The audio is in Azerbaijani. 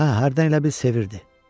Hə, hərdən elə bil sevirdi.